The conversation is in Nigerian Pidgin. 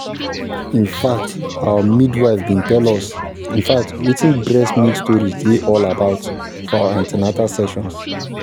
in fact our midwife been tell us in fact wetin breast milk storage dey all about for our an ten atal sessions